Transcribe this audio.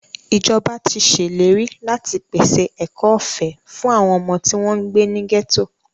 Ìjọba tí ṣèlérí láti pèse ẹ̀kọ́ ọ̀fẹ́ fún àwọn ọmọ tí wọ́n ń gbé ní gẹ́tò.